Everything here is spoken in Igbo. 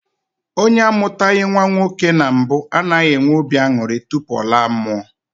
Onye amụtaghị nnwa nwoke na mbụ anaghị enwe obi aṅụrị tupu ọ laa mmụọ